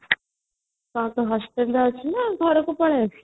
କଣ ତୁ hospital ରେ ଅଛୁ ନା ଘରକୁ ପଳେଈ ଆସିଛୁ